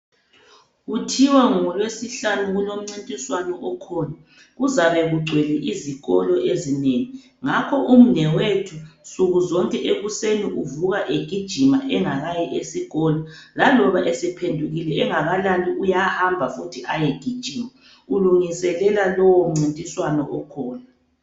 Kuthiwa ngolweSihlanu kulomncintiswano okhona, kuzabe kugcwele izikolo ezinengi ngakho ngakho umnewethu nsukuzonke ekuseni uvuka egijima engakayi esikolo laloba esephendukile engakalali uyahamba futhi ayogijima ulungiselela lowo mncintiswano okhona.